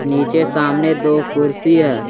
नीचे सामने दो कुर्सी है।